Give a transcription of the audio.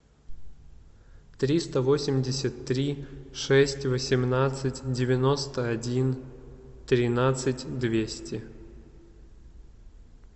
триста восемьдесят три шесть восемнадцать девяносто один тринадцать двести